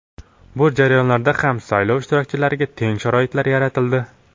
Bu jarayonlarda ham saylov ishtirokchilariga teng sharoitlar yaratildi.